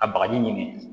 A bagaji ɲini